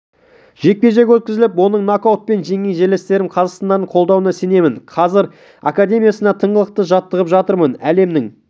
жекпе-жек өткізіп оның нокаутпен жеңген жерлестерім қазақстандықтардың қолдауына сенемін қазір академиясында тыңғылықты жаттығып жатырмын әлемнің